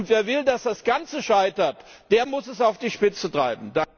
Wer will, dass das Ganze scheitert, der muss es auf die Spitze treiben!